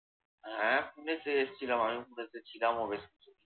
হ্যাঁ পুনেতে এসছিলাম আমি পুনেতে ছিলামও বেশকিছু দিন।